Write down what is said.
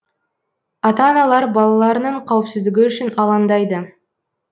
ата аналар балаларының қауіпсіздігі үшін алаңдайды